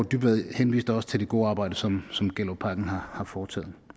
dybvad henviste også til det gode arbejde som som gellerupparken har foretaget